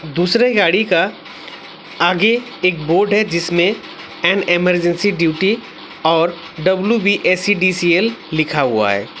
दूसरे गाड़ी का आगे एक बोर्ड है जिसमें और इमरजेंसी ड्यूटी और डब्लू_बी_ए_सी_डी_सी_एल लिखा हुआ है।